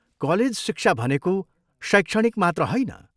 College शिक्षा भनेको शैक्षणिक मात्र होइन।